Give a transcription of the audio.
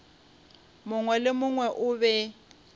mongwe le mongwe o be